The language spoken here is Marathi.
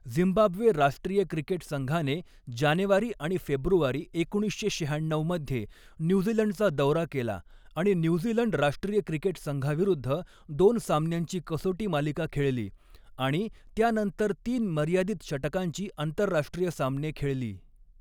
झिम्बाब्वे राष्ट्रीय क्रिकेट संघाने जानेवारी आणि फेब्रुवारी एकोणीसशे शहाण्णऊ मध्ये न्यूझीलंडचा दौरा केला आणि न्यूझीलंड राष्ट्रीय क्रिकेट संघाविरुद्ध दोन सामन्यांची कसोटी मालिका खेळली आणि त्यानंतर तीन मर्यादित षटकांची आंतरराष्ट्रीय सामने खेळली.